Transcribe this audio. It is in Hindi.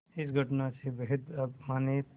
इस घटना से बेहद अपमानित